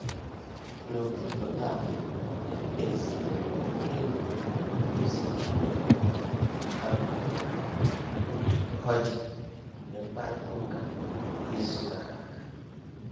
N'ụtụtụ taa, ezitere m enyi m ozi email ka m hụ otú ọ dị mgbe mkparịta ụka izu gara aga.